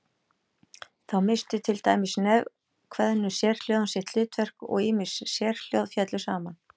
Þá misstu til dæmis nefkveðnu sérhljóðin sitt hlutverk og ýmis sérhljóð féllu saman.